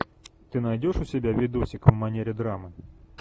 ты найдешь у себя видосик в манере драмы